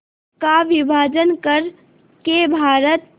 का विभाजन कर के भारत